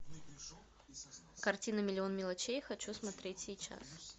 картина миллион мелочей хочу смотреть сейчас